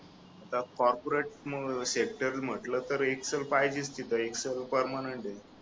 जर corporate sector म्हटलं तर एक्सेल पाहिजेस तिथं एक्सल परमनंट आहे